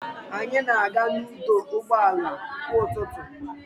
Anyị na-aga n'ọdụ ụgbọ ala kwa ụtụtụ.